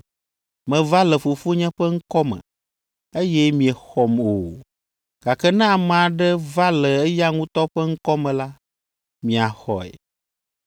Meva le Fofonye ƒe ŋkɔ me, eye miexɔm o; gake ne ame aɖe va le eya ŋutɔ ƒe ŋkɔ me la, miaxɔe.